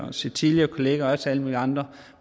og set tidligere kollegaer og også alle mulige andre